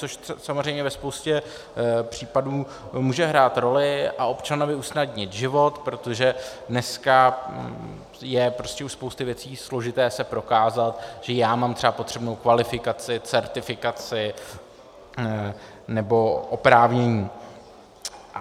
Což samozřejmě ve spoustě případů může hrát roli a občanovi usnadnit život, protože dneska je prostě u spousty věcí složité se prokázat, že já mám třeba potřebnou kvalifikaci, certifikaci nebo oprávnění.